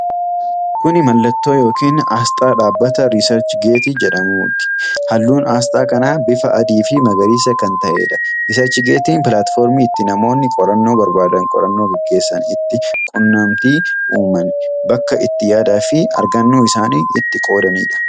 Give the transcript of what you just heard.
Kuni mallattoo yookiin asxaa dhaabbata RiisarchGeet jedhamuuti. halluun asxaa kanaa bifaa adii fii magariisa kan ta'edha. RiisarchGeetiin pilaatfoormii itti namoonni qorannoo barbaadan, qorannoo gaggeessan itti quunnamtii uuman, bakka itti yaada fi argannoo isaanii itti qoodanidha.